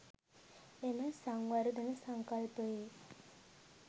එම සංවර්ධන සංකල්පයේ